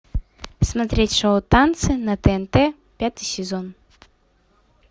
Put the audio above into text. смотреть шоу танцы на тнт пятый сезон